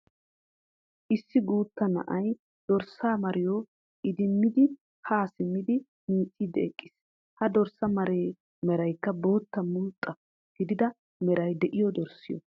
Issi guutta na"ay dorssa mariyoo idimmidi haa simmidi miicciddi eqqis. He dorssa maree meraykka bootta mulxxa gidida meray de"iyo dorssiyo